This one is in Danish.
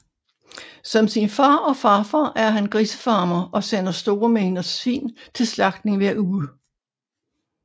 Som sin far og farfar er han grisefarmer og sender store mængder svin til slagtning hver uge